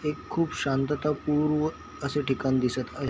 हे खूप शांतता पूर्व असं ठिकाण दिसत आहे.